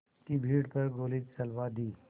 की भीड़ पर गोली चलवा दी